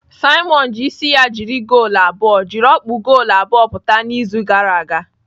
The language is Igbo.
Simon ji isi ya jiri goolu abụọ jiri ọkpụ goolu abụọ pụta n'izu gara aga.